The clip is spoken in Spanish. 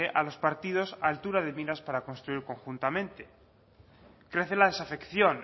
a los partidos altura de miras para construir conjuntamente crece la desafección